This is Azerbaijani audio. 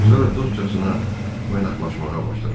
Sonra dostcasına oynaqlaşmağa başladılar.